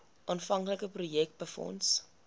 aanvanklike projek befonds